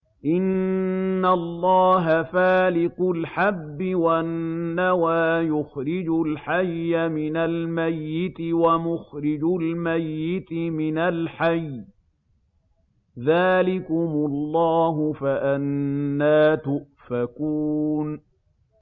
۞ إِنَّ اللَّهَ فَالِقُ الْحَبِّ وَالنَّوَىٰ ۖ يُخْرِجُ الْحَيَّ مِنَ الْمَيِّتِ وَمُخْرِجُ الْمَيِّتِ مِنَ الْحَيِّ ۚ ذَٰلِكُمُ اللَّهُ ۖ فَأَنَّىٰ تُؤْفَكُونَ